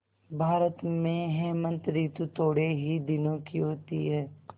भारत में हेमंत ॠतु थोड़े ही दिनों की होती है